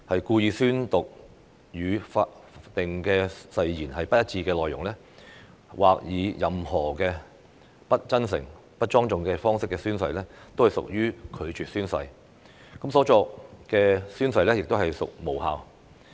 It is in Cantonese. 故意宣讀與法定誓言不一致的內容，或以任何不真誠、不莊重的方式宣誓，均屬拒絕宣誓，所作的宣誓亦屬無效。